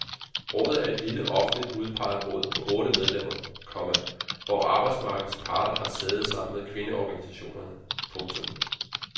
Rådet er et lille offentligt udpeget råd på otte medlemmer, komma hvor arbejdsmarkedets parter har sæde sammen med kvindeorganisationerne. punktum